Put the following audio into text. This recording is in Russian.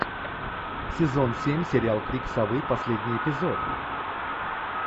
сезон семь сериал крик совы последний эпизод